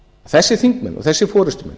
þessir þingmenn og þessir forustumenn